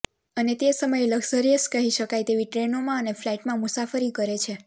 અને તે સમયે લકઝરીયસ કહી શાકાય તેવી ટ્રેનોમાં અને ફલાઇટમાં મુસાફરી કરે છે